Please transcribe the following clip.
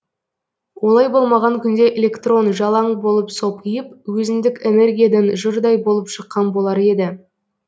олай болмаған күнде электрон жалаң болып сопиып өзіндік энергиядан жұрдай болып шыққан болар еді